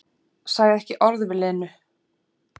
Sagði ekki orð við Lenu.